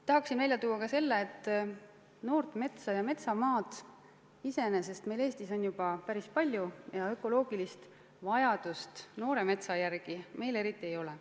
Tahan välja tuua ka selle, et noort metsa ja metsamaad iseenesest on Eestis juba päris palju ja ökoloogilist vajadust noore metsa järele meil eriti ei ole.